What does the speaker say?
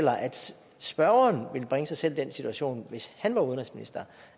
spørgeren ville bringe sig selv i den situation hvis han var udenrigsminister